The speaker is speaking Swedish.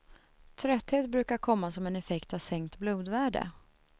Trötthet brukar komma som en effekt av sänkt blodvärde.